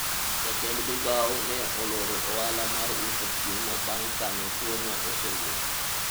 jatend migawo ne oloro ohala mar uso chiemo bang' kane tuwono osewuok